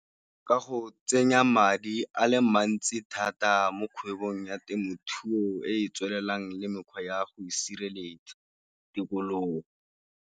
Ka go tsenya madi a le mantsi thata mo kgwebong ya temothuo e e tswelelang le mekgwa ya go sireletsa tikologo.